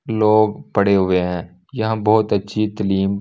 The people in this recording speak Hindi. लोग पड़े हुए हैं यहां बहुत अच्छी तलीम --